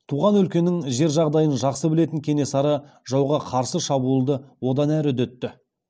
туған өлкенің жер жағдайын жақсы білетін кенесары жауға қарсы шабуылды одан әрі үдетті